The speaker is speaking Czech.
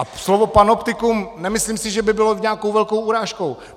A slovo panoptikum, nemyslím si, že by bylo nějakou velkou urážkou.